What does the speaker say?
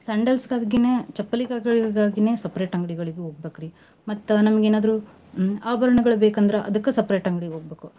Sandals ಗಾಗಿನ ಚಪ್ಪಲ್ಗಳಿಗಾಗಿನ separate ಅಂಗ್ಡಿಗ್ ಹೋಗ್ಬೇಕ್ರೀ ಮತ್ತ ನಮ್ಗ ಏನಾದ್ರೂ ಆಭರಣಗಳ ಬೇಕಂದ್ರ ಅದಕ್ಕೂ separate ಅಂಗ್ಡಿಗ್ ಹೋಗ್ಬೇಕು.